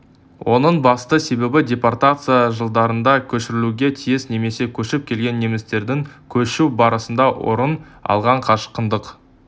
оның басты себебі депортация жылдарында көшірілуге тиіс немесе көшіп келген немістердің көшу барысында орын алған қашқындық